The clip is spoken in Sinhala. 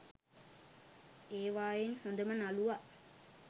ඒවායින් හොඳම නළුවා